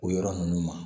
O yɔrɔ ninnu ma